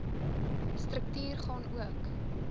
struktuur gaan ook